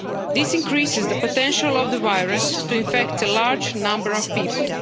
This increases the potential of the virus to infect a large number of people.